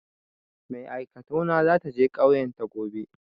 Mai aikatau na za ta je ƙauyan ta gobe.